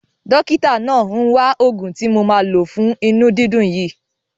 Dọ́kítà náà ń wa òògùn tí mo ma lo fún inú dídùn yìí.